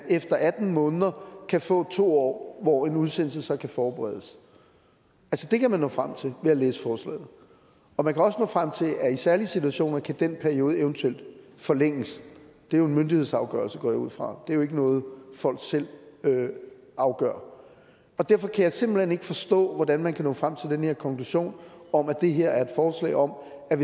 efter atten måneder kan få to år hvor en udsendelse så kan forberedes det kan man nå frem til ved at læse forslaget og man kan også nå frem til at i særlige situationer kan den periode eventuelt forlænges det er jo en myndighedsafgørelse går jeg ud fra det er jo ikke noget folk selv afgør derfor kan jeg simpelt hen ikke forstå hvordan man kan nå frem til den her konklusion om at det her er forslag om at